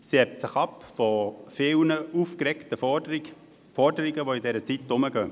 Sie hebt sich ab von vielen aufgeregten Forderungen, die in dieser Zeit herumgehen.